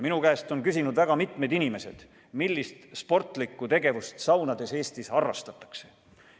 Minu käest on küsinud väga mitmed inimesed, millist sportlikku tegevust meil saunades harrastatakse.